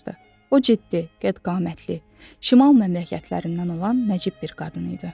O ciddi, qədd-qamətli, şimal məmləkətlərindən olan nəcib bir qadın idi.